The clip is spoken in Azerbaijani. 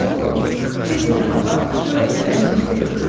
Koroğlu, bir bu yana bax, gör o gələn kimdir?